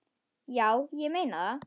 Já, ég meina það.